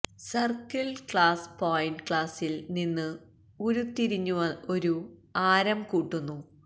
circle class point ക്ലാസിൽ നിന്ന് ഉരുത്തിരിഞ്ഞു ഒരു ആരം കൂട്ടുന്നു